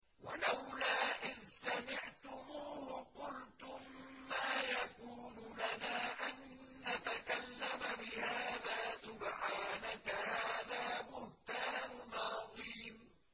وَلَوْلَا إِذْ سَمِعْتُمُوهُ قُلْتُم مَّا يَكُونُ لَنَا أَن نَّتَكَلَّمَ بِهَٰذَا سُبْحَانَكَ هَٰذَا بُهْتَانٌ عَظِيمٌ